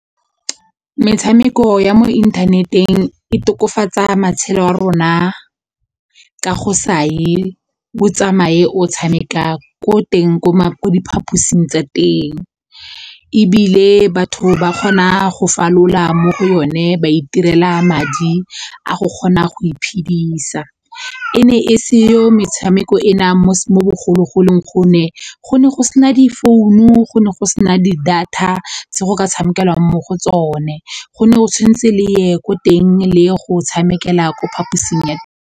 Metshameko ya mo inthaneteng e tokofatsa matshelo a rona ka go sa ye o tsamaye o tshameka ko teng ko diphaposing tsa teng ebile batho ba kgona go falola mo go yone ba itirela madi a go kgona go iphedisa. E ne e seyo metshameko ena mo bogologolong gonne go ne go sena difounu go ne go sena di-data se go ka tshamekelang mo go tsone go ne go tshwanetse le ye ko teng le go tshamekela ko phaposing.